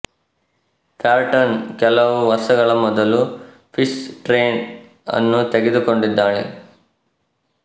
ಪ್ಯಾರ್ಟಾನ್ ಕೆಲವು ವರ್ಷಗಳ ಮೊದಲು ಪೀಸ್ ಟ್ರ್ಯೇನ್ ಅನ್ನು ತೆಗೆದುಕೊಂಡಿದ್ದಾಳೆ